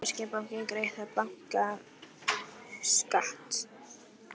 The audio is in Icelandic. Mun þýski bankinn greiða bankaskatt?